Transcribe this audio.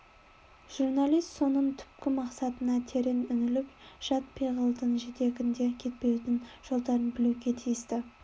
журналист соның түпкі мақсатына терең үңіліп жат пиғылдың жетегінде кетпеудің жолдарын білуге тиісті